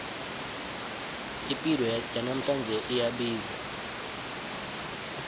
ipilo yanamhlanje iyabiza